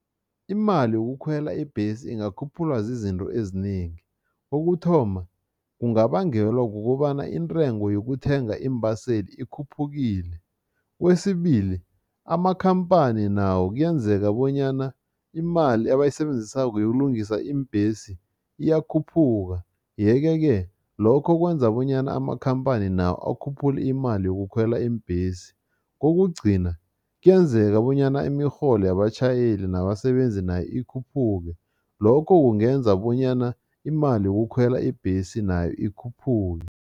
Imali yokukhwela ibhesi ingakhuphulwa zizinto ezinengi. Kokuthoma, kungabangelwa kukobana intengo yokuthenga iimbaseli ikhuphukile. Kwesibili, amakhamphani nawo kuyenzeka bonyana imali abayisebenzisako yokulungisa iimbhesi iyakhuphuka yeke-ke lokho kwenza bonyana amakhamphani nawo akhuphule imali yokukhwela iimbhesi. Kokugcina, kuyenzeka bonyana imirholo yabatjhayeli nabasebenzi nayo ikhuphuke, lokho kungenza bonyana imali yokukhwela ibhesi nayo ikhuphuke.